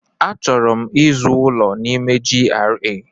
Achọrọ m ịzụ ụlọ n'ime GRA.